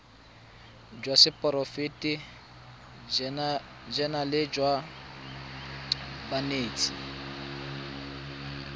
jwa seporofe enale jwa banetshi